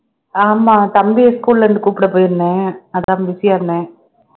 ஆமா தம்பியை school ல இருந்து கூப்பிட போயிருந்தேன் அதான் busy ஆ இருந்தேன்